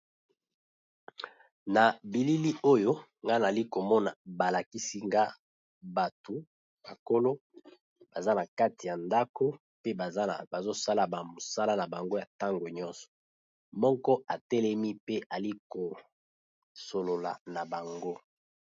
Na bilili oyo nga na zali ko mona ba lakisi nga batu bakolo baza na kati ya ndako pe bazo sala ba misala na bango ya ntango nyonso, moko a telemi pe ali ko solola na bango .